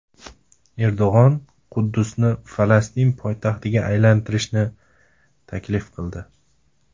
Erdo‘g‘on Quddusni Falastin poytaxtiga aylantirishni taklif qildi .